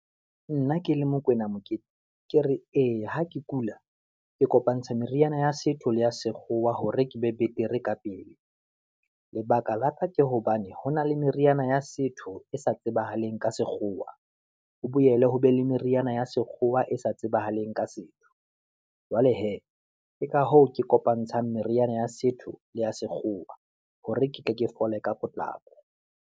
Nna ke le Mokwena Mokete, ke re ee ha ke kula, ke kopantshe meriana ya setho, le ya sekgowa hore ke be betere ka pele. Lebaka la ka ke hobane ho na le meriana ya setho e sa tsebang leng ka sekgowa, ho boele ho be le meriana ya sekgowa e sa tsebahaleng ka setho. Jwale hee, ke ka hoo ke kopantshang meriana ya setho, le ya sekgowa hore ke tle ke fole ka potlako.